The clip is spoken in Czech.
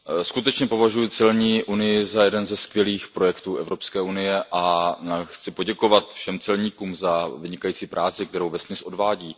Skutečně považuji celní unii za jeden ze skvělých projektů EU a chci poděkovat všem celníkům za vynikající práci, kterou vesměs odvádí.